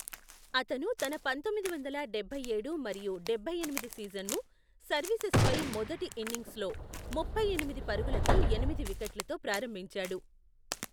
అతను తన పంతొమ్మిది వందల డబ్బైఏడు మరియు డభై ఎనిమిది సీజన్ను సర్వీసెస్పై మొదటి ఇన్నింగ్స్లో ముప్పై ఎనిమిది పరుగులకి ఎనిమిది వికెట్లతో ప్రారంభించాడు.